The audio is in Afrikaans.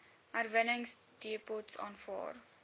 herwinningsdepots aanvaar